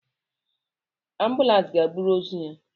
Ambulans ga-eburu ozu ya